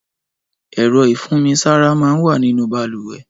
Ẹ̀rọ̀ ifùnmisàrá mà n wà ninú bàlúwẹ̀